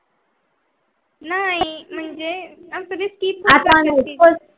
नाही मनहजे अस काही skip